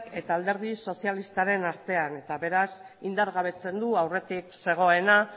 eta alderdi sozialistaren artean beraz indargabetzen du aurretik zegoena